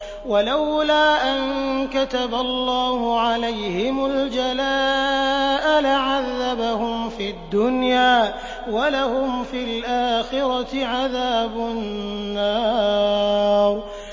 وَلَوْلَا أَن كَتَبَ اللَّهُ عَلَيْهِمُ الْجَلَاءَ لَعَذَّبَهُمْ فِي الدُّنْيَا ۖ وَلَهُمْ فِي الْآخِرَةِ عَذَابُ النَّارِ